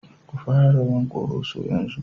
Ku fara rawan Koroso yanzu!